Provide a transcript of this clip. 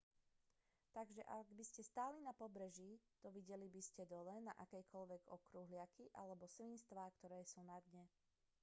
takže ak by ste stáli na pobreží dovideli by ste dole na akékoľvek okruhliaky alebo svinstvá ktoré sú na dne